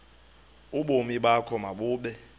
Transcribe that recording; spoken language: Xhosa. ubomi bakho mabube